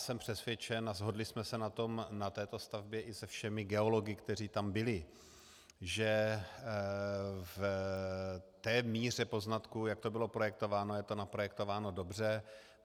Jsem přesvědčen, a shodli jsme se na tom na této stavbě i se všemi geology, kteří tam byli, že v té míře poznatků, jak to bylo projektováno, je to naprojektováno dobře.